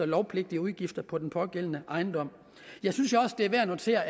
lovpligtige udgifter på den pågældende ejendom jeg synes jo også det er værd at notere